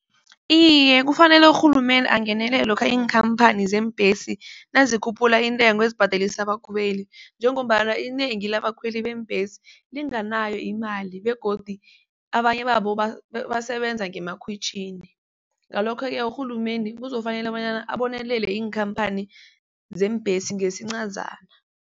Iye, kufanele urhulumende angenelele lokha iinkhamphani zeembhesi nazikhuphula intengo ezibhadelisa abakhweli njengombana inengi labakhweli beembhesi linganayo imali begodu abanye babo basebenza ngemakhwitjhini. Ngalokho-ke urhulumende kuzokufanele bonyana abonelele iinkhamphani zeembhesi ngesincazana.